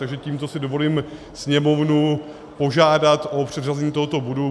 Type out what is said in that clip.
Takže tímto si dovoluji Sněmovnu požádat o předřazení tohoto bodu.